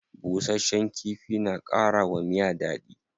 Bushasshen kifi na kara wa miya dadi.